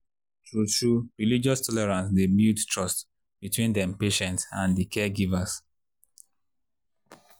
true-true religious tolerance dey build trust between dem patients and di caregivers.